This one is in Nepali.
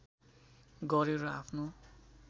गर्‍यो र आफ्नो